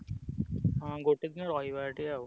ହଁ ଗୋଟେ ଦି ରହିବା ସେଠି ଆଉ।